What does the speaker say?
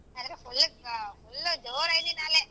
ಆದರೆ full ಜೋರ್ ಆಯ್ದಿನಾಲೆ.